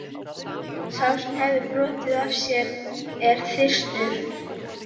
Sá sem hefur brotið af sér er þyrstur.